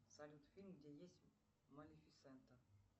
салют фильм где есть малифисента